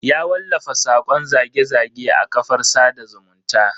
Ya wallafa sakon zage-zage a kafar sada zumunta.